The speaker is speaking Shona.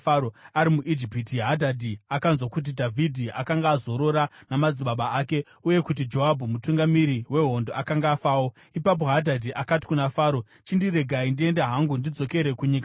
Ari muIjipiti, Hadhadhi akanzwa kuti Dhavhidhi akanga azorora namadzibaba ake uye kuti Joabhu mutungamiri wehondo akanga afawo. Ipapo Hadhadhi akati kuna Faro, “Chindiregai ndiende hangu, ndidzokere kunyika yangu.”